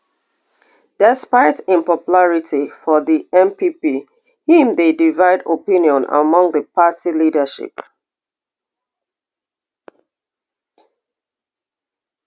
despite im popularity for di npp im dey divide opinion among di party leadership